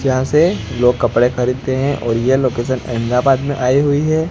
यहां से लोग कपड़े खरीदते हैं और ये लोकेशन अहमदाबाद में आई हुई है।